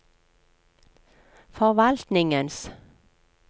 forvaltningens